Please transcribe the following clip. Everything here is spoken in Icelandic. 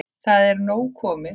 Það er nóg komið.